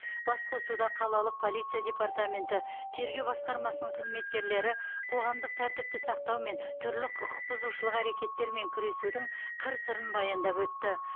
басқосуда қалалық полиция департаменті тергеу басқармасының қызметкерлері қоғамық тәртіпті сақтау мен түрлі құқықбұзушылық әрекеттермен күресудің қыр сырын баяндап өтті